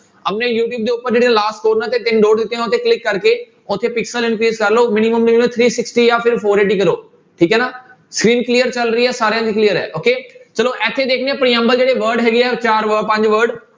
ਆਪਣੇ ਯੂਟਿਊਬ ਦੇ ਉੱਪਰ ਜਿਹੜੇ last corner ਤੇ ਤਿੰਨ dot ਦਿੱਤੇ ਆ ਉਹਨਾਂ ਤੇ click ਕਰਕੇ ਉੱਥੇ increase ਕਰ ਲਓ minimum three sixty ਜਾਂ ਫਿਰ four eighty ਕਰੋ, ਠੀਕ ਹੈ ਨਾ screen clear ਚੱਲ ਰਹੀ ਹੈ ਸਾਰਿਆਂ ਦੀ clear ਹੈ okay ਚਲੋ ਇੱਥੇ ਦੇਖਦੇ ਹਾਂ ਪ੍ਰਿਅੰਬਲ ਜਿਹੜੇ word ਹੈਗੇ ਆ ਚਾਰ ਵ~ ਪੰਜ word